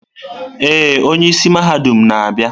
Ee, onye isi mahadum na-abịa.